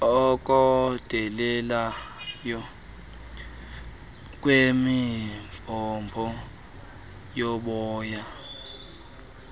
okondeleyo kwemibhobho yomoya